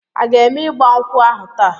A ga eme igba nkwu ahu taa?